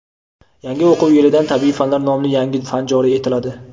Yangi o‘quv yilidan "Tabiiy fanlar" nomli yangi fan joriy etiladi.